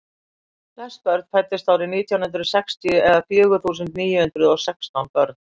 flest börn fæddust árið nítján hundrað sextíu eða fjögur þúsund níu hundruð og sextán börn